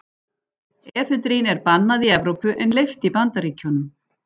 Efedrín er bannað í Evrópu en leyft í Bandaríkjunum.